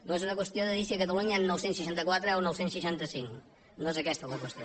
no és una qüestió de dir si a catalunya n’hi han nou cents i seixanta quatre o nou cents i seixanta cinc no és aquesta la qüestió